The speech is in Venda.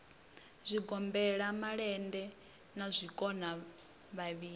zwigombela malende na zwikona vhavhili